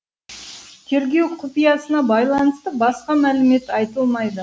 тергеу құпиясына байланысты басқа мәлімет айтылмайды